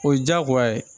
O ye diyagoya ye